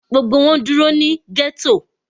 Gbogbo wọn dúró ní ghetto.